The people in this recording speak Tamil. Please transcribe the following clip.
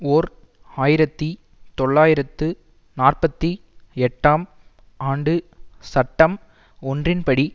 ஓர் ஆயிரத்தி தொள்ளாயிரத்து நாற்பத்தி எட்டாம் ஆண்டு சட்டம் ஒன்றின் படி